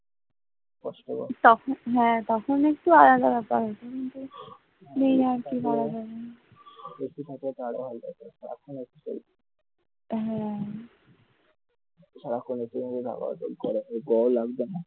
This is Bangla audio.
AC থাকলে তো আরো ভালো হতো সারাক্ষণ AC তো চলতো গরমই লাগত না হ্যাঁ সারাক্ষণ AC হাওয়া হত গরম লাগত না.